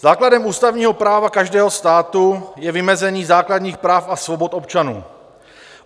Základem ústavního práva každého státu je vymezení základních práv a svobod občanů.